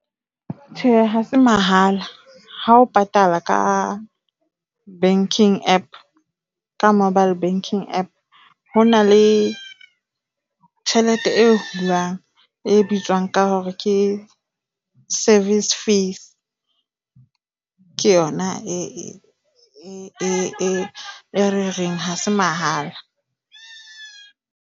Tjhe, ha se mahala ha o patala ka banking App ka mobile banking App, ho na le tjhelete e hulwang e bitswang ka hore ke service fees ke yona e re reng ha se mahala.